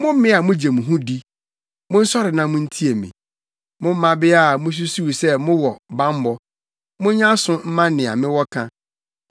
Mo mmea a mugye mo ho di, monsɔre na muntie me; mo mmabea a mususuw sɛ mowɔ bammɔ monyɛ aso mma nea mewɔ ka!